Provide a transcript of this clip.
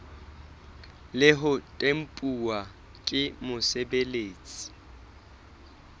le ho tempuwa ke mosebeletsi